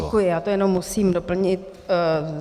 Děkuji, já to jenom musím doplnit.